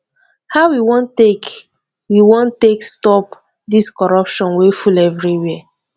how we wan take we wan take stop dis corruption wey full everywhere